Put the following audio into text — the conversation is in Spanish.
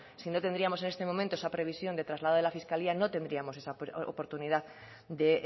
si no tendríamos en este momento esa previsión de traslado de la fiscalía no tendríamos esa oportunidad de